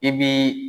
I bi